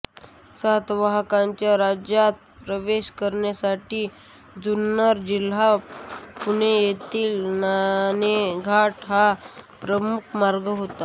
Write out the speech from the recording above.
सातवाहनांच्या राज्यात प्रवेश करण्यासाठी जुन्नर जिल्हा पुणे येथील नाणेघाट हा प्रमुख मार्ग होता